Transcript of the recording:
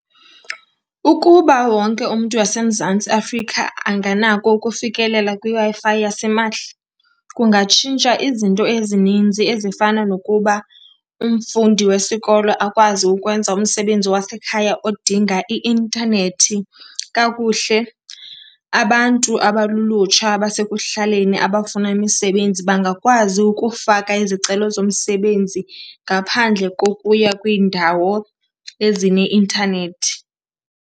Ukuba wonke umntu waseMzantsi Afrika anganako ukufikelela kwiWi-Fi yasimahla kungatshintsha izinto ezininzi, ezifana nokuba umfundi wesikolo akwazi ukwenza umsebenzi wasekhaya odinga i-intanethi kakuhle. Abantu abalulutsha abasekuhlaleni abafuna imisebenzi bangakwazi ukufaka izicelo zomsebenzi ngaphandle kokuya kwiindawo ezineintanethi.